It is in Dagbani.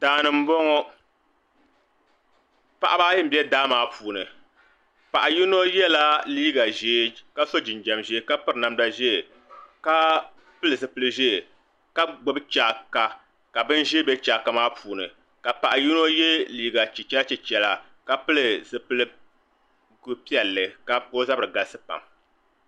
daa ni m-bɔŋɔ paɣiba ayi m-be daa maa puuni paɣ' yino yɛla liiga ʒee ka so jɛnjɛm ʒee ka piri namda ʒee ka pili zipil' ʒee ka gbubi chaaka ka bin' ʒee be chaaka maa puuni ka paɣ' yino ye liiga chichɛlachichɛla ka pili zipil' piɛlli ka o zabiri galisi pam